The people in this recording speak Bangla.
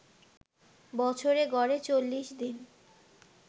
বছরে গড়ে ৪০ দিন